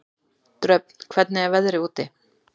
Dröfn, hvernig er veðrið úti?